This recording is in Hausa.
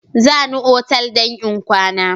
Za ni otal in kwana.